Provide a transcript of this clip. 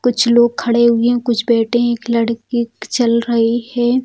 कुछ लोग खड़े हुए हैं कुछ बैठे हैं एक लड़की चल रही है।